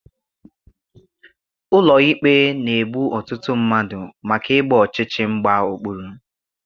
Ụlọ ikpe na-egbu ọtụtụ mmadụ maka ịgba ọchịchị mgba okpuru